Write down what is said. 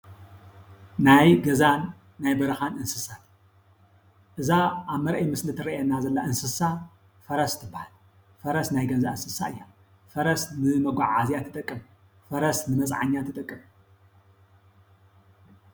ናይ ገዛን ናይ በረኻን እንስሳ እዛ ኣብ መረኣዪ ምስሊ ትረአየና ዘላ እንስሳ ፈረስ ትበሃል። ፈረስ ናይ ገዛ እንስሳ እያ። ፈረስ ንመጓዓዝያ ትጠቅም። ፈረስ ንመፅዓኛ ትጠቅም ።